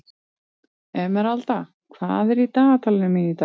Emeralda, hvað er í dagatalinu mínu í dag?